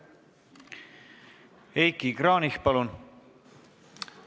Heiki Kranich, palun!